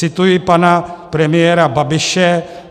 Cituji pana premiéra Babiše.